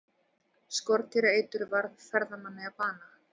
Skordýraeitur varð ferðamanni að bana